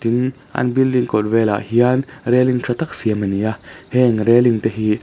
tin an building kawt vêlah hian railing ṭha tak siam a ni a heng reling te hi.